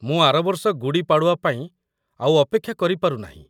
ମୁଁ ଆର ବର୍ଷ ଗୁଡ଼ୀ ପାଡ଼ୱା ପାଇଁ ଆଉ ଅପେକ୍ଷା କରିପାରୁ ନାହିଁ ।